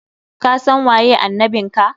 Kasan waye annabin ka!